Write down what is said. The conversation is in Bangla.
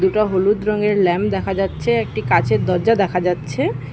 দুটা হলুদ রঙের ল্যাম দেখা যাচ্ছে একটি কাঁচের দজ্জা দেখা যাচ্ছে।